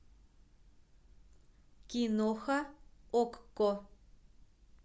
киноха окко